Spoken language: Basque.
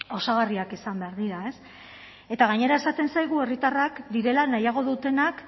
osagarriak izan behar dira eta gainera esaten zaigu herritarrak direla nahiago dutenak